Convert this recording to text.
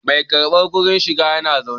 Mai karbar kudin shiga yana zaune